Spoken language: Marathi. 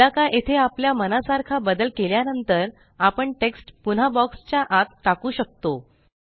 एकदा का येथे आपल्या मनासारखा बदल केल्यानंतर आपण टेक्स्ट पुन्हा बॉक्स च्या आत टाकू शकतो